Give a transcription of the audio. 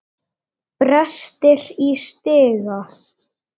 Brestir í stiga.